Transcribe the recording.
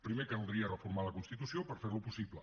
primer caldria reformar la constitució per fer lo possible